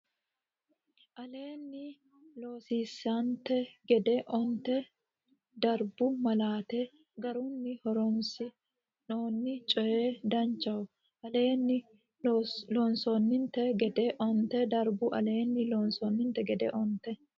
aleenni loossininte gede onte darbu malaate garunni horoonsi noonni coy Danchaho aleenni loossininte gede onte darbu aleenni loossininte gede onte.